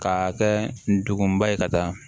K'a kɛ ndugun ba ye ka taa